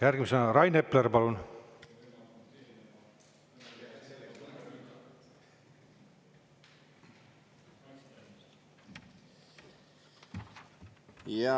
Järgmisena Rain Epler, palun!